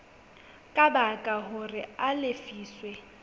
ka baka hore a lefiswe